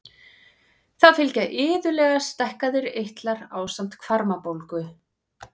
Þá fylgja iðulega stækkaðir eitlar ásamt hvarmabólgu.